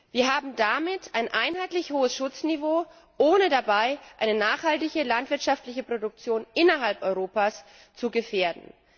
Wir haben damit ein einheitlich hohes Schutzniveau, ohne dabei eine nachhaltige landwirtschaftliche Produktion innerhalb Europas zu